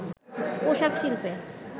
পোশাক শিল্পে